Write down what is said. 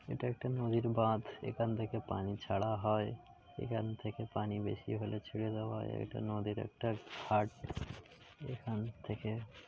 এটা একটা নদীর বাঁধ এখান থেকে পানি ছাড়া হয় এখান থেকে পানি বেশি হলে ছেড়ে দেওয়া এটা নদীর একটা ঘাট এখান থেকে--